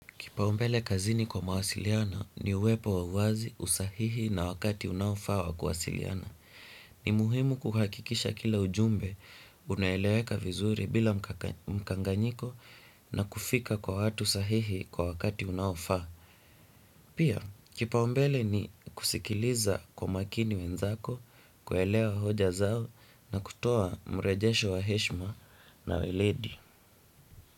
Kipaumbele kazini kwa mawasiliana ni uwepo wa uwazi, usahihi na wakati unaofaa wa kuwasiliana. Ni muhimu kuhakikisha kila ujumbe, unaeleweka vizuri bila mkanganyiko na kufika kwa watu sahihi kwa wakati unaofaa. Pia, kipaumbele ni kusikiliza kwa makini wenzako, kuelewa hoja zao na kutoa mrejesho wa heshima na weledi.